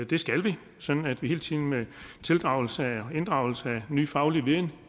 det skal vi sådan at vi hele tiden med inddragelse af inddragelse af ny faglig viden